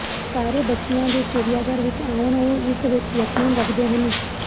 ਸਾਰੇ ਬੱਚਿਆਂ ਜੋ ਚਿੜੀਆਘਰ ਵਿੱਚ ਆਉਣ ਉਹ ਇਸ ਵਿੱਚ ਯਕੀਨ ਰੱਖਦੇ ਹਨ